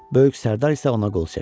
Böyük sərdar isə ona qol çəkdi.